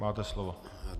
Máte slovo.